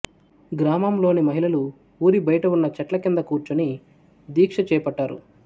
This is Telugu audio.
గ్రామం లోని మహిళలు ఊరి బయటి ఉన్న చెట్ల క్రింద కూర్చుని దీక్ష చేపట్టారు